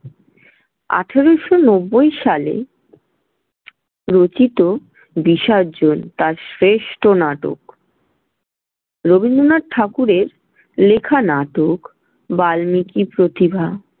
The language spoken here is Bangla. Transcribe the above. আঠারোশো নব্বই সালে রচিত বিসর্জন তার শ্রেষ্ঠ নাটক। রবীন্দ্রনাথ ঠাকুরের লেখা নাটক বাল্মিকীর প্রতিভা।